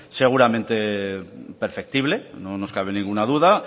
seguramente perfectible no nos cabe ninguna duda